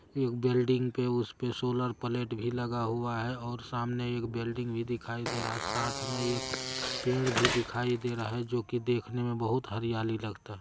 एक बिल्डिंग पे उसपे सोलर प्लेट भी लगा हुआ है। और सामने एक बिल्डिंग भी दिखाई दे रहा है। साथ में एक पेड़ भी दिखाई दे रहा है जो कि देखने में बहुत हरियाली लगता--